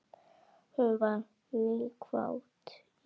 Hún var náhvít í framan.